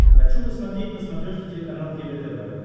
хочу посмотреть на смотрешке телеканал егэ тв